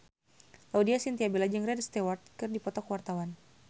Laudya Chintya Bella jeung Rod Stewart keur dipoto ku wartawan